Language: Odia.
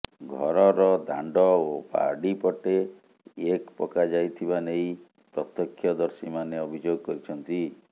ଘରର ଦାଣ୍ଡ ଓ ବାଡ଼ିପଟେ ଏକ୍ ପକାଯାଇଥିବାନେଇ ପ୍ରତ୍ୟକ୍ଷଦର୍ଶିମାନେ ଅଭିଯୋଗ କରିଛନ୍ତି